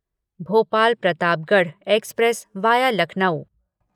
Bhopal Pratapgarh express via Lucknow